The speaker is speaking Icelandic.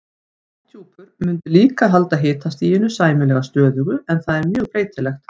Lofthjúpur mundi líka halda hitastiginu sæmilega stöðugu en það er mjög breytilegt.